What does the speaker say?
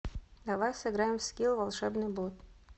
давай сыграем в скилл волшебный бот